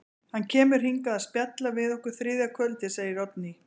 Hann kemur hingað að spjalla við okkur þriðja kvöldið, segir Oddný.